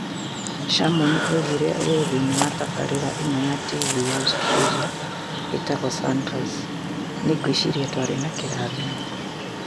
Shannon oigire ũũ thĩinĩ wa tabarĩra ĩmwe ya TV ya Australia ĩtagwo Sunrise: "Nĩ ngwĩciria twarĩ na kĩrathimo.